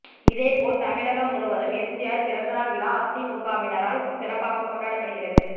இதேபோல் தமிழக முழுவதும் எம்ஜிஆர் பிறந்த நாள் விழா அதிமுகவினரால் சிறப்பாக கொண்டாடப்படுகிறது